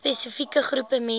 spesifieke groep mense